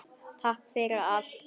Takk fyrir allt, Gunna mín.